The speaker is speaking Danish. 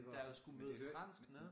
Men da jeg skulle møde fransk nå